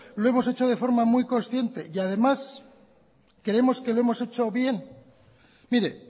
lo hemos hecho de forma muy consciente y además creemos que lo hemos hecho bien mire